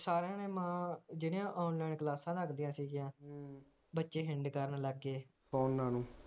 ਸਾਰੀਆਂ ਦੀਆਂ ਮਾਵਾਂ ਜਿਹੜੀਆਂ online ਕਲਾਸਾਂ ਲਗਦੀਆਂ ਸਿਗੀਆ ਬੱਚੇ ਹਿੰਡ ਕਰਨ ਲੱਗ ਗੇ